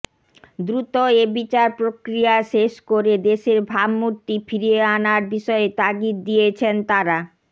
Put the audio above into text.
দ্রুত এ বিচার প্রক্রিয়া শেষ করে দেশের ভাবমূর্তি ফিরিয়ে আনার বিষয়ে তাগিদ দিয়ছেন তারা